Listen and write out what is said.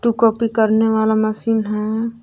Copy करने वाला machine है।